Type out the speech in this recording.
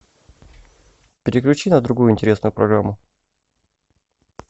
переключи на другую интересную программу